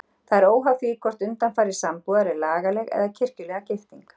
Það er óháð því hvort undanfari sambúðar er lagaleg eða kirkjulega gifting.